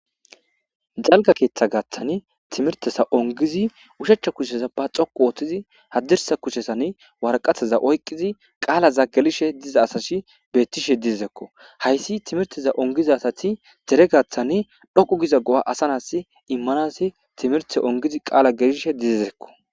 Dalga keeththa gaaththani timirtesa ongizi ushechcha kusheza ba xoqu ooththizi haddirsa kucshesan warqataza oyqqizi qaalaza gelishe diza asash beettishe didizekko hayssi timirteza ongizasati dere gaaththani dhoqu giza go'a asanas immanasi timirte ongizi qaala gelishe dizizekk.